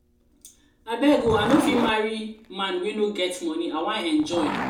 abeg oo i no fit marry man wey no get money i wan enjoy. enjoy.